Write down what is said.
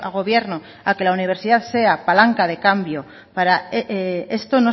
gobierno a que la universidad sea palanca de cambio para esto